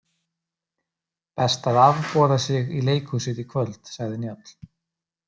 Best að afboða sig í leikhúsið í kvöld, sagði Njáll.